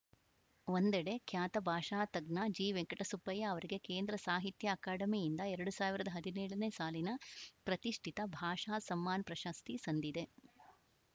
ಒಂದೆಡೆ ಖ್ಯಾತ ಭಾಷಾ ತಜ್ಞ ಜಿ ವೆಂಕಟಸುಬ್ಬಯ್ಯ ಅವರಿಗೆ ಕೇಂದ್ರ ಸಾಹಿತ್ಯ ಅಕಾಡೆಮಿಯಿಂದ ಎರಡು ಸಾವಿರದ ಹದಿನೇಳನೇ ಸಾಲಿನ ಪ್ರತಿಷ್ಠಿತ ಭಾಷಾ ಸಮ್ಮಾನ್‌ ಪ್ರಶಸ್ತಿ ಸಂದಿದೆ